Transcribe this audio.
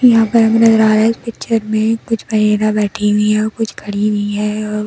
यहाँ पर नज़र आ रहा है पिक्चर में बैठी हुई है कुछ खड़ी हुई है और कुछ।